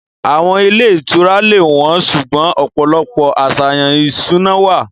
Àwọn ilé ìtura lè wọ́n, ṣùgbọ́n ọ̀pọ̀lọpọ̀ àṣàyàn ìṣúná wà.